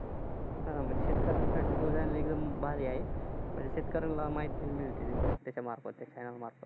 हा, म्हणजे शेतकऱ्यांसाठी तो channel एकदम भारी आहे. शेतकऱ्यांना माहिती मिळते त्याचामार्फत.